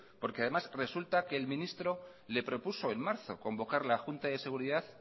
porque además resulta que el ministro le propuso en marzo convocar la junta de seguridad